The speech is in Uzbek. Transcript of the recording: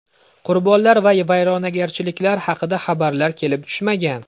Qurbonlar va vayronagarchiliklar haqida xabarlar kelib tushmagan.